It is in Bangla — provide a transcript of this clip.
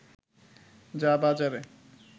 যা বাজারে